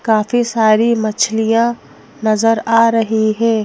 काफी सारी मछलियां नजर आ रही हैं।